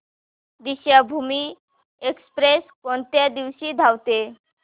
Deekshabhoomi express कोणत्या दिवशी धावते